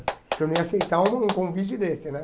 Porque eu não ia aceitar um convite desse, né?